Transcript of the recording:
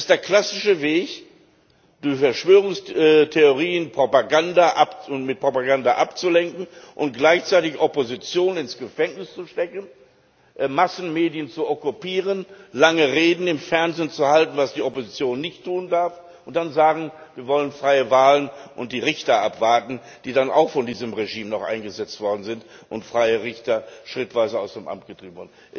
Es ist der klassische Weg mit Verschwörungstheorien und mit Propaganda abzulenken und gleichzeitig die Opposition ins Gefängnis zu stecken, die Massenmedien zu okkupieren, lange Reden im Fernsehen zu halten was die Opposition nicht tun darf und dann zu sagen Wir wollen freie Wahlen und die Richter abwarten, die dann auch noch von diesem Regime eingesetzt worden sind, und freie Richter schrittweise aus dem Amt zu treiben.